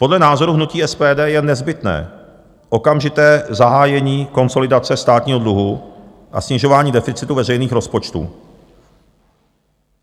Podle názoru hnutí SPD je nezbytné okamžité zahájení konsolidace státního dluhu a snižování deficitu veřejných rozpočtů.